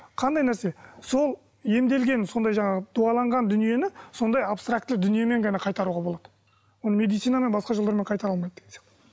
қандай нәрсе сол емделген сондай жаңағы дуаланған дүниені сондай абстарктілі дүниемен ғана қайтаруға болады оны медицинамен басқа жолдармен қайтара алмайды деген сияқты